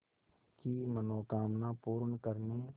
की मनोकामना पूर्ण करने